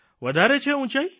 વધારે છે ઉંચાઇ